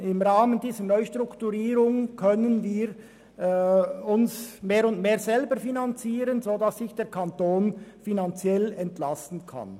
Im Rahmen dieser Neustrukturierung könne sie sich immer stärker selber finanzieren, sodass der Kanton finanziell entlastet werde.